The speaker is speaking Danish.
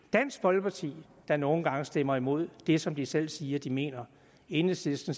dansk folkeparti der nogle gange stemmer imod det som de selv siger de mener enhedslisten